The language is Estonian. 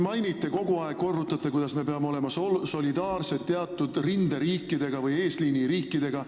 Te kogu aeg korrutate, et me peame olema solidaarsed teatud rinderiikidega või eesliiniriikidega.